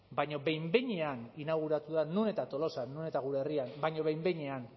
baina behin behinean inauguratu da non eta tolosan non eta gure herrian baina behin behinean